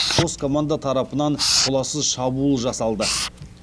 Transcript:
қос команда тарапынан толассыз шабуыл жасалды